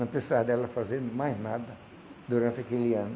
Não precisa dela fazer mais nada durante aquele ano.